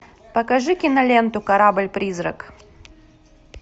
покажи киноленту корабль призрак